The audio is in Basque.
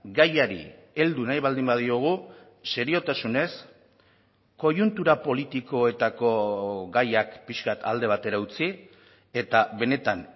gaiari heldu nahi baldin badiogu seriotasunez koiuntura politikoetako gaiak pixka bat alde batera utzi eta benetan